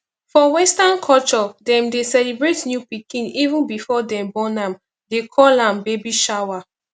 for western culture dem dey celebrate new pikin even before dem born am they call am baby shower